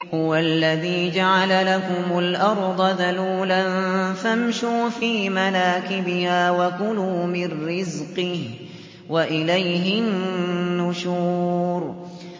هُوَ الَّذِي جَعَلَ لَكُمُ الْأَرْضَ ذَلُولًا فَامْشُوا فِي مَنَاكِبِهَا وَكُلُوا مِن رِّزْقِهِ ۖ وَإِلَيْهِ النُّشُورُ